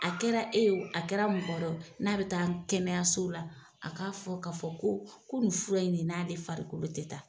A kɛra e ye wo a kɛra mɔgɔ wɛrɛ ye wo n'a bɛ taa kɛnɛyaso la a k'a fɔ k'a fɔ ko ko nin fura in ne n'ale farikolo tɛ taa.